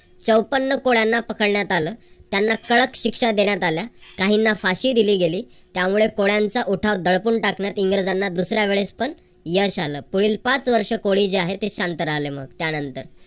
चौप्पन कोळ्यांना पकडण्यात आलं. त्यांना कडक शिक्षा देण्यात आल्या. काहीना फाशी दिली गेली. त्यामुळे कोळ्यांचा उठाव दडपून टाकण्यात इंग्रजांना दुसऱ्या वेळेस पण यश आलं. पुढील पाच वर्ष कोळी जे आहेत ते शांत राहिले. मग त्यानंतर